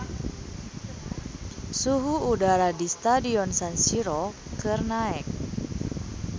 Suhu udara di Stadion San Siro keur naek